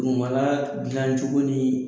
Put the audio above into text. Dugumala dilancogo ni